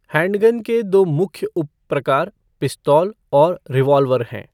Handgun के दो मुख्य उप प्रकार पिस्तौल और रिवॉल्वर हैं।